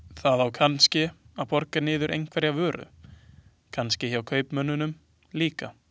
Það á kannske að borga niður einhverjar vörur, kannske hjá kaupmönnunum líka.